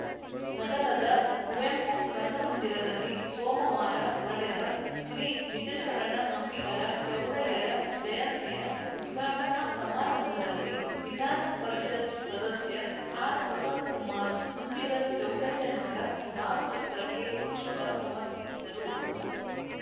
ನಗರದ ಕುವೆಂಪು ರಂಗಮಂದಿರದಲ್ಲಿ ಸೋಮವಾರ ನಡೆದ ಶ್ರೀ ನಿಜಶರಣ ಅಂಬಿಗರ ಚೌಡಯ್ಯರ ಜಯಂತಿಯ ಉದ್ಘಾಟನಾ ಸಮಾರಂಭದಲ್ಲಿ ವಿಧಾನಪರಿಷತ್‌ ಸದಸ್ಯ ಆರ್‌ ಪ್ರಸನ್ನಕುಮಾರ್‌ ಅಂಬಿಗರ ಚೌಡಯ್ಯನವರ ಭಾವಚಿತ್ರಕ್ಕೆ ಪುಷ್ಪ ಸಮರ್ಪಿಸಿದರು